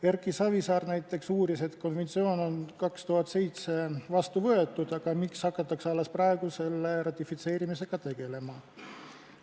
Erki Savisaar näiteks uuris, et konventsioon on 2007. aastal vastu võetud, aga miks hakatakse alles praegu selle ratifitseerimisega tegelema.